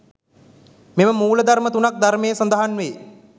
මෙම මූල ධර්ම තුනක් ධර්මයේ සඳහන් වේ.